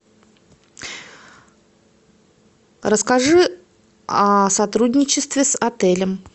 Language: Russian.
расскажи о сотрудничестве с отелем